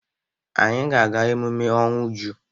Anyị ga-aga emume ọnwụ Uju.